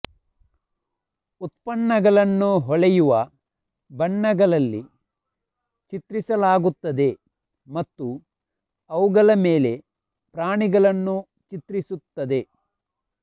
ಉತ್ಪನ್ನಗಳನ್ನು ಹೊಳೆಯುವ ಬಣ್ಣಗಳಲ್ಲಿ ಚಿತ್ರಿಸಲಾಗುತ್ತದೆ ಮತ್ತು ಅವುಗಳ ಮೇಲೆ ಪ್ರಾಣಿಗಳನ್ನು ಚಿತ್ರಿಸುತ್ತದೆ